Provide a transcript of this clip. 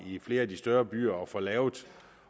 i flere af de større byer trapperne at få lavet